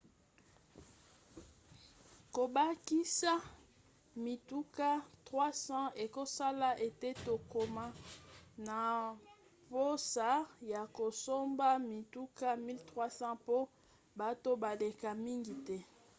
kobakisa mituka 300 ekosala ete tokoma na mposa ya kosomba mituka 1 300 mpo bato baleka mingi te